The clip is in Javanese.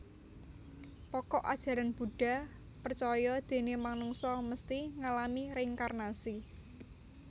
Pokok Ajaran Buddha percaya déné manungsa mesti ngalami reinkarnasi